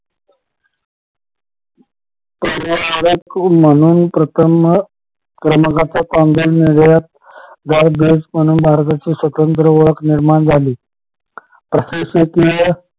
म्हणून प्रथम क्रमांकाचा म्हणून भारताची स्वतंत्र ओळख निर्माण झाली प्रशासकीय